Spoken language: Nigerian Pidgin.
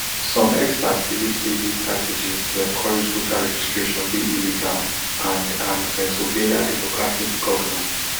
some experts believe say dis strategy to encourage voter registration dey illegal and and pennsylvania democratic governor